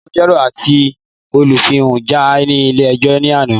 Agbẹjọ́rò àti Olùfisùn jà ní ilé ẹjọ́ ní àná